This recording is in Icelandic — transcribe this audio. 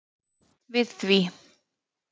við því.